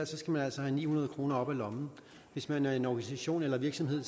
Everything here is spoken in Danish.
skal man altså have ni hundrede kroner op af lommen hvis man er en organisation eller virksomhed